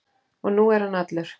Og nú er hann allur.